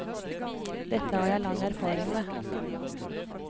Dette har jeg lang erfaring med.